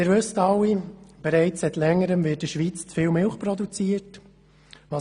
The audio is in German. Sie wissen alle, dass seit längerem in der Schweiz zu viel Milch produziert wird.